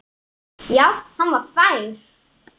Já, hann var fær!